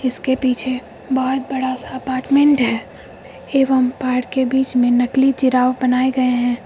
इसके पीछे बहोत बड़ा सा अपार्टमेंट है एवम् पार्क के बीच में नकली जिराफ बनाए गए हैं।